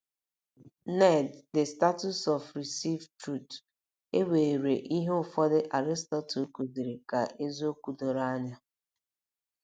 ned the status of received truth E weere ihe ụfọdụ Aristotle kụziri ka eziokwu doro anya